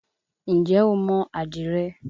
Ǹjẹ́ o mo àdìrẹ?